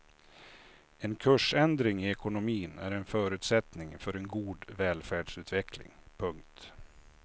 En kursändring i ekonomin är en förutsättning för en god välfärdsutveckling. punkt